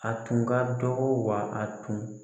A tun ka dɔgɔ wa a tun